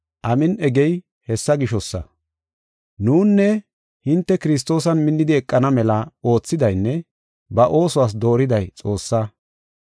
Nunne hinte Kiristoosan minnidi eqana mela oothidaynne ba oosuwas dooriday Xoossaa.